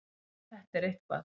Þetta er eitthvað.